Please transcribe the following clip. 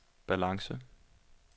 balance